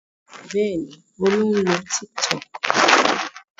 Bẹ́ẹ̀ ni, Olú ń lo Tiktok.